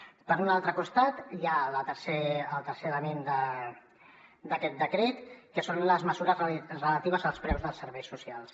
per un altre costat hi ha el tercer element d’aquest decret que són les mesures relatives als preus dels serveis socials